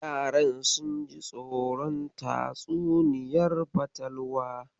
Yaran sun ji tsoron tatsuniyar fatalwar.